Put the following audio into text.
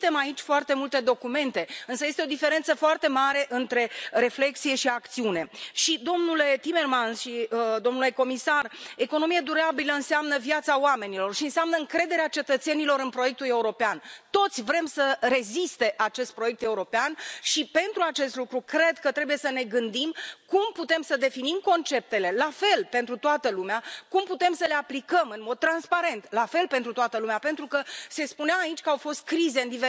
Emitem aici foarte multe documente, însă este o diferență foarte mare între reflecție și acțiune și, domnule Timmermans și domnule comisar, economie durabilă înseamnă viața oamenilor și înseamnă încrederea cetățenilor în proiectul european. Toți vrem să reziste acest proiect european și, pentru acest lucru, cred că trebuie să ne gândim cum putem să definim conceptele la fel pentru toată lumea, cum putem să le aplicăm în mod transparent la fel pentru toată lumea, pentru că se spunea aici că au fost crize în